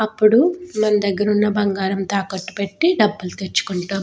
అప్పుడు మన దగ్గర ఉన్న బంగారాన్ని తాకట్టుపెట్టి డబ్బులు తెచ్చుకుంటాం.